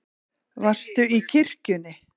Varstu í kirkjunni?